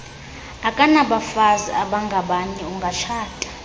akanabafazi abangabanye ungatshata